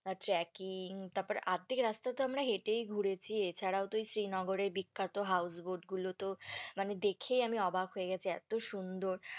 আর trekking তারপর আর্ধেক রাস্তা তো আমরা হেঁটেই ঘুরেছি, এছাড়া তো ওই শ্রীনগরের বিখ্যাত house boat গুলোতো মানে দেখেই আমি অবাক হয়ে গেছি, এত সুন্দর।